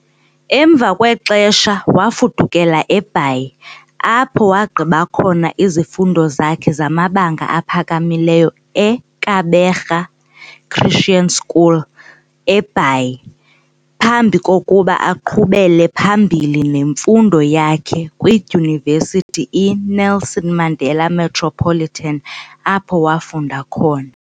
Emva kwexesha wafudukela eBhayi, apho wagqiba khona izifundo zakhe zamabanga aphakamileyo eKabega Christian School, eBhayi, phambi kokuba aqhubele phambili nemfundo yakhe kwiDyunivesithi iNelson Mandela Metropolitan, apho wafunda khona .